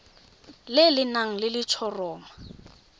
le le nang le letshoroma